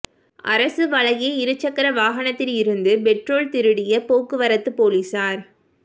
அரசு வழங்கிய இரு சக்கர வாகனத்தில் இருந்து பெட்ரோல் திருடிய போக்குவரத்து போலீசார்